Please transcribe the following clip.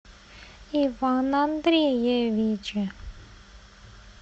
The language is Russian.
иван андреевич